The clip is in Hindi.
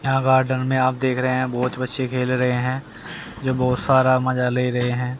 यहां गार्डन में आप देख रहे हैं बहुत बच्चे खेल रहे हैं जो बहुत सारा मजा ले रहे हैं।